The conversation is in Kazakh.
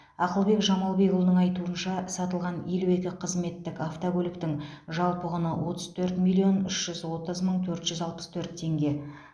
ақылбек жамалбекұлының айтуынша сатылған елу екі қызметтік автокөліктің жалпы құны отыз төрт миллион үш жүз отыз мың төрт жүз алпыс төрт теңге